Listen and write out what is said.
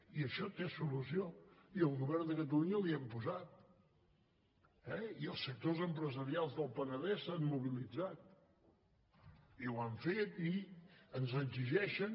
i això té solució i el govern de catalunya la hi hem posat eh i els sectors empresarials del penedès s’han mobilitzat i ho han fet i ens exigeixen